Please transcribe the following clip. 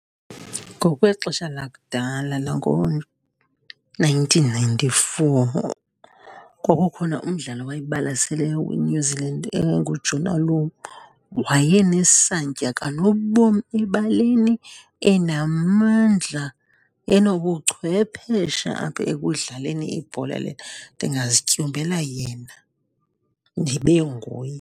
Ngokwexesha lakudala langoo-nineteen ninety-four kwakukhona umdlali owayebalasele weNew Zealand Jonah Lomu. Wayenesantya kanobom ebaleni, enamandla, enobuchwephesha apha ekudlaleni ibhola le. Ndingazityumbela yena, ndibe nguye.